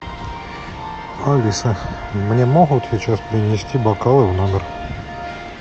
алиса мне могут вечером принести бокалы в номер